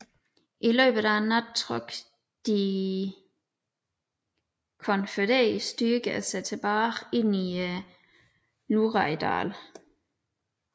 I løbet af natten trak de konfødererede styrker sig tilbage ind i i Luraydalen